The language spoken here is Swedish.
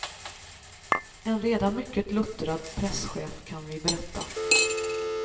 En redan mycket luttrad presschef kan vi berätta.